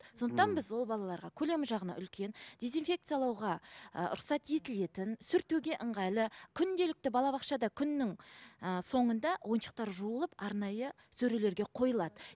сондықтан біз ол балаларға көлемі жағынан үлкен дезинфекциялауға ы рұқсат етілетін сүртуге ыңғайлы күнделікті балабақшада күннің ііі соңында ойыншықтар жуылып арнайы сөрелерге қойылады